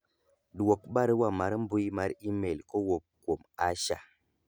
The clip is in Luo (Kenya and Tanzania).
dwok barua mar mbui mar email kowuok kuom Asha